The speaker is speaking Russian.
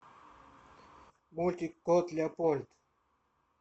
мультик кот леопольд